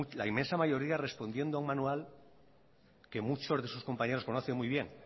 la inmensa mayoría respondiendo a un manual que muchos de sus compañeros conoce muy bien